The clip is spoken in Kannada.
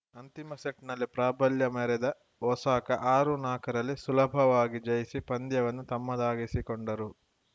ಅಂತಿಮ ಸೆಟ್‌ನಲ್ಲಿ ಪ್ರಾಬಲ್ಯ ಮೆರೆದ ಒಸಾಕ ಆರುನಾಕರಲ್ಲಿ ಸುಲಭವಾಗಿ ಜಯಿಸಿ ಪಂದ್ಯವನ್ನು ತಮ್ಮದಾಗಿಸಿಕೊಂಡರು